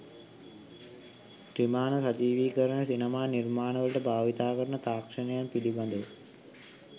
ත්‍රිමාණ සජීවීකරණ සිනමා නිර්මාණ වලට භාවිතා කරන තාක්ෂණයන් පිළබඳව